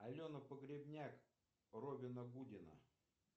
алена погребняк робина гудина